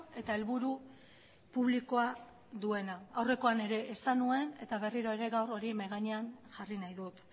eta helburu publikoa duena aurrekoan ere esan nuen eta berriro ere gaur hori mahai gainean jarri nahi dut